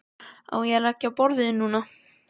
Á ég að leggja á borðið núna?